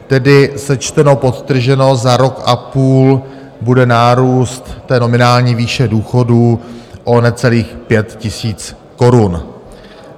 Tedy sečteno, podtrženo, za rok a půl bude nárůst té nominální výše důchodů o necelých 5 000 korun.